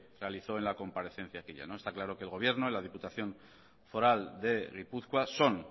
realizó en la comparecencia aquella está claro que el gobierno y la diputación foral de gipuzkoa son